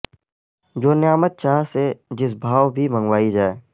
جو نعمت چاہ سے جس بھائو بھی منگوائی جائے ہے